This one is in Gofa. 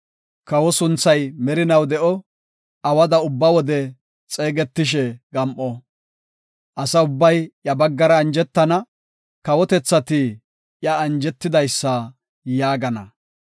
Kawa sunthay merinaw de7o; awada ubba wode xeegetishe gam7o. Asa ubbay iya baggara anjetana; kawotethati iya “anjetidaysa” yaagana.